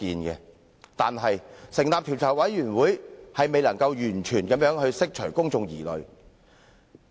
可是，成立調查委員會卻未能完全釋除公眾的疑慮。